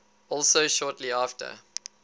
also shortly after